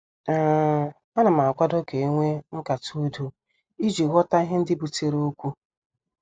um Anam akwado ka enwee nkata udo iji ghọta ihe ndị butere okwu.